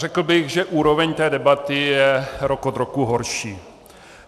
Řekl bych, že úroveň té debaty je rok od roku horší.